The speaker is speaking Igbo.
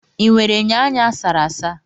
Ị nwere enyo anya a sara asa?